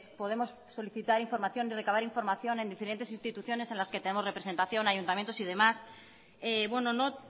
podemos solicitar información y recabar información en diferentes instituciones en las que tenemos representación ayuntamientos y demás no